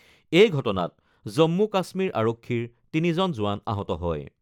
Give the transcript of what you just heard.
এই ঘটনাত জম্মু কাশ্মীৰ আৰক্ষীৰ তিনিজন জোৱান আহত হয়।